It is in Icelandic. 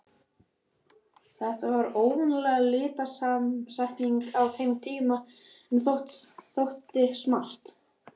Þetta var óvanaleg litasamsetning á þeim tíma, en þótti smart.